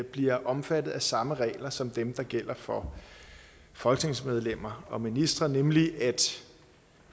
bliver omfattet af samme regler som dem der gælder for folketingsmedlemmer og ministre nemlig at